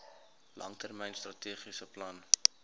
langtermyn strategiese plan